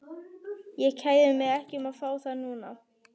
Ég kæri mig ekki um að fá þá núna.